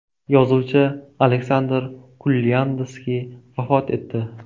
Yozuvchi Aleksandr Kurlyandskiy vafot etdi.